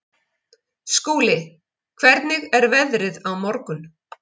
Skúli, hvernig er veðrið á morgun?